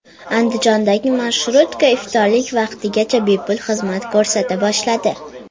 Andijondagi marshrutka iftorlik vaqtigacha bepul xizmat ko‘rsata boshladi.